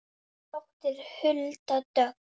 Þín dóttir Hulda Dögg.